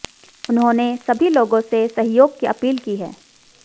उन्होंने सभी लोगों से सहयोग की अपील की है